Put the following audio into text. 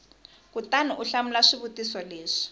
kutani u hlamula swivutiso leswi